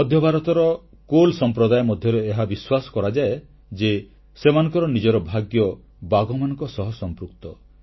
ମଧ୍ୟଭାରତର କୋଲ୍ ସମ୍ପ୍ରଦାୟ ମଧ୍ୟରେ ଏହା ବିଶ୍ୱାସ କରାଯାଏ ଯେ ସେମାନଙ୍କର ନିଜର ଭାଗ୍ୟ ବାଘମାନଙ୍କ ସହ ସମ୍ପୃକ୍ତ